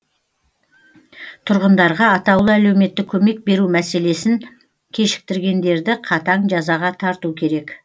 тұрғындарға атаулы әлеуметтік көмек беру мәселесін кешіктіргендерді қатаң жазаға тарту керек